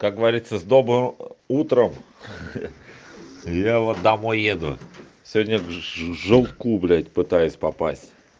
как говориться с добрым утром я вот домой еду сегодня в жопку блять пытаюсь попасть